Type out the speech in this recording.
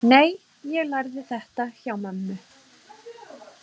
Nei, ég lærði þetta hjá mömmu.